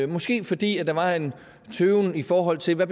måske fordi der var en tøven i forhold til hvad